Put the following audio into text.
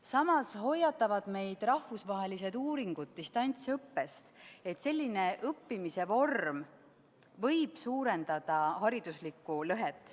Samas hoiatavad rahvusvahelised uuringud meid distantsõppe eest, kuna selline õppimise vorm võib suurendada hariduslikku lõhet.